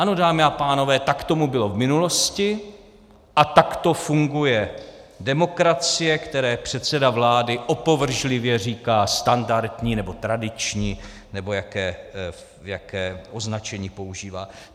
Ano, dámy a pánové, tak tomu bylo v minulosti a takto funguje demokracie, které předseda vlády opovržlivě říká standardní, nebo tradiční, nebo jaké označení používá.